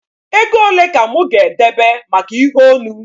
Ego ole ka mụ ga-edebe maka ihe onu?